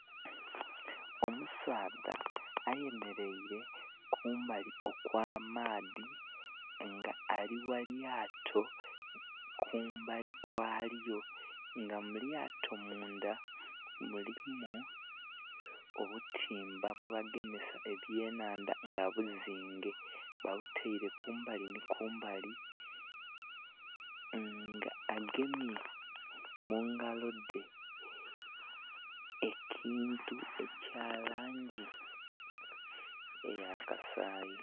Omusaadha ayemereire kumbali okwa maadhi nga ali ghalyato kumbali kwalyo nga mulyato mundha mulimu obutimba bwe bagemesa ebye nhandha nga buzinge ba butaire kumbali nhi kumbali. Nga agemye mungalo dhe ekintu ekya langi eya kasayi.